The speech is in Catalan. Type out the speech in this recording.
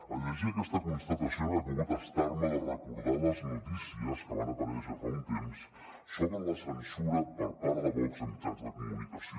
al llegir aquesta constatació no he pogut estar me de recordar les notícies que van aparèixer fa un temps sobre la censura per part de vox a mitjans de comunicació